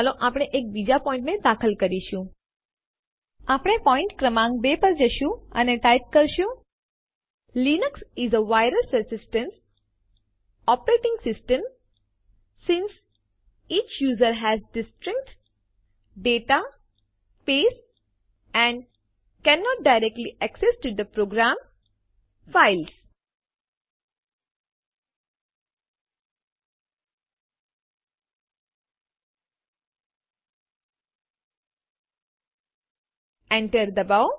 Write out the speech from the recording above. આપણે પોઈન્ટ ક્રમાંક 2 પર જશું અને ટાઈપ કરીશું Enter એન્ટર દબાવો